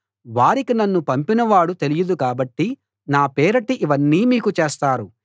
వారికి నన్ను పంపిన వాడు తెలియదు కాబట్టి నా పేరిట ఇవన్నీ మీకు చేస్తారు